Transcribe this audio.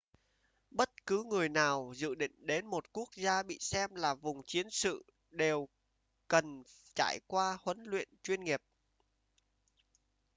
bất cứ người nào dự định đến một quốc gia bị xem là vùng chiến sự đều cần trải qua huấn luyện chuyên nghiệp